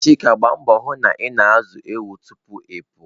Chika Gbaa mbọ hụ na ị na-azụ ewu tupu ịpụ.